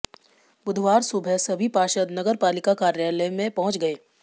बुधवार सुबह सभी पार्षद नगर पालिका कार्यालय में पहुंच गए